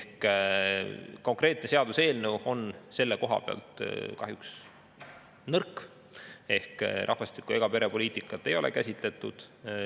Konkreetne seaduseelnõu on selle koha pealt kahjuks nõrk, rahvastiku- ega perepoliitikat ei ole käsitletud.